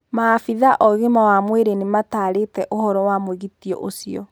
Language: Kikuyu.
Maabithaa o-gima wa mwirĩ nĩmatarĩte ũhoro wa mwĩgito ũcio.